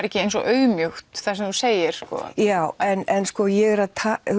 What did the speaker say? ekki eins og auðmýkt það sem þú segir já sko ég er að